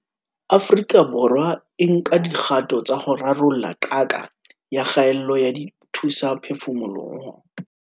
Afrika Borwa e nka dikgato tsa ho rarolla qaka ya kgaello ya dithusaphefumoloho